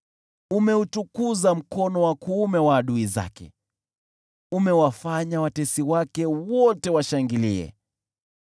Umeutukuza mkono wa kuume wa adui zake, umewafanya watesi wake wote washangilie.